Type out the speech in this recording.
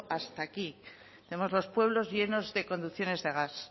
hasta aquí tenemos los pueblos llenos de conducciones de gas